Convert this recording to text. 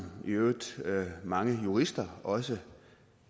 i øvrigt mange jurister også